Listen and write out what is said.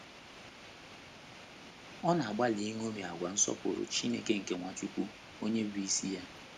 Ọ na - agbalị iṅomi àgwà nsọpụrụ Chineke nke Nwachukwu, onye bụ́ isi ya.